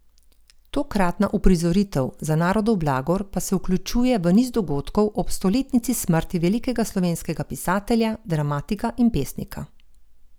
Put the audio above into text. Tokratna uprizoritev Za narodov blagor pa se vključuje v niz dogodkov ob stoletnici smrti velikega slovenskega pisatelja, dramatika in pesnika.